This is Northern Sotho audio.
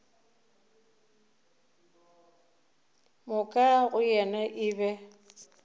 moka go yena e be